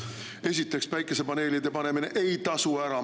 Esiteks, päikesepaneelide panemine ei tasu ära.